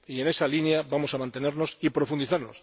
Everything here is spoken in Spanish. En esa línea vamos a mantenernos y profundizar.